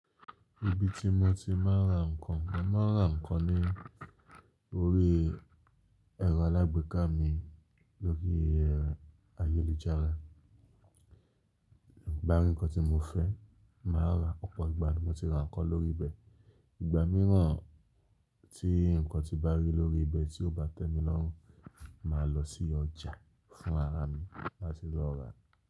Ibi tí mo ti máa ń ra ǹnkan, mo máa ń ra ǹnkan ní orí ẹ̀rọ alágbèéká mi lórí ayélujára. Tí n bá rí nǹkan tí mo fẹ́, màá ra, ọ̀pọ̀ ìgbà ni mo ti ra ǹnkan lórí bẹ̀. Ìgbà mìíràn tí ǹnkan tí n bá rí lórí ibẹ̀ tí ó bá tẹ̀mí lọ́rùn, màá lọ sí ọjà fún ara mi láti lọ rà á.